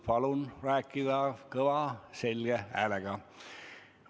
Palun rääkida kõva selge häälega!